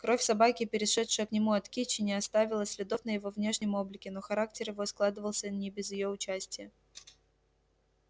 кровь собаки перешедшая к нему от кичи не оставила следов на его внешнем облике но характер его складывался не без её участия